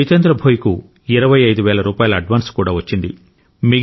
జితేంద్ర భోయ్కు ఇరవై ఐదు వేల రూపాయల అడ్వాన్స్ కూడా వచ్చింది